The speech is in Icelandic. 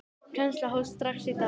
Kennsla hófst strax í dag.